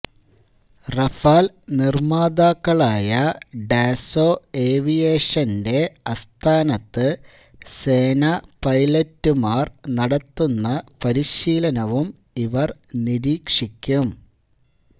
Rafale നിര്മാതാക്കളായ ഡാസോ ഏവിയേഷന്റെ ആസ്ഥാനത്ത് സേനാ പൈലറ്റുമാര് നടത്തുന്ന പരിശീലനവും ഇവര് നിരീക്ഷിക്കും